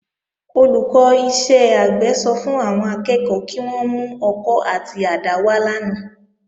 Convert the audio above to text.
Olùkọ́ iṣẹ́ àgbẹ̀ sọ fún àwọn akẹ́kọ̀ọ́ kí wón mú ọkọ́ àti àdá wá lánàá